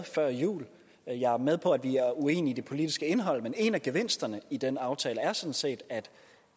før jul jeg er med på at vi er uenige i det politiske indhold men en af gevinsterne i den aftale er sådan set at